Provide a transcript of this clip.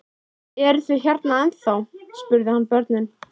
Eruð þið hérna ennþá? spurði hann börnin.